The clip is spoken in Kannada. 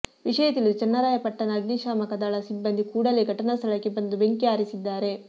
ವಿಷಯ ತಿಳಿದು ಚನ್ನರಾಯಪಟ್ಟಣ ಅಗ್ನಿಶಾಮಕ ದಳ ಸಿಬ್ಬಂದಿ ಕೂಡಲೇ ಘಟನಾ ಸ್ಥಳಕ್ಕೆ ಬಂದು ಬೆಂಕಿ ಆರಿಸಿದ್ದಾರೆ